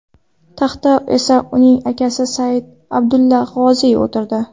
Taxtga esa uning akasi Said Abdulla G‘oziy o‘tirdi.